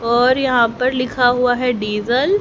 और यहां पर लिखा हुआ है डीज़ल --